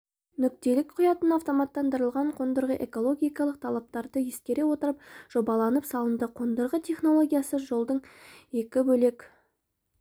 нүктелік құятын автоматтандырылған қондырғы экологиялық талаптарды ескере отырып жобаланып салынды қондырғы технологиясы жолдың екі бөлек